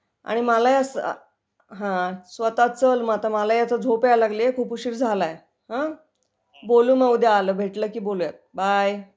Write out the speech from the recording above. हम्म, मला ही आता झोप यायला लगलिए खूप उशीर झालाय बोलू मग उद्या भेटल की बोलूया .बाय